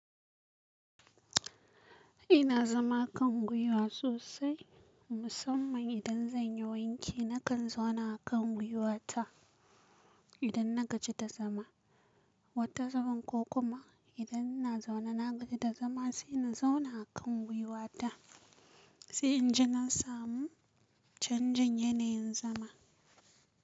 Ina zama a kan gwiwa sosai, musamman idan zan yi wanki nakan zauna a kan gwiwata idan na gaji da zama. Wata zaman ko kuma idan ina zaune na gaji da zama sai ina zauna a kan gwiwata, sai inji na samu canjin yanayin zama.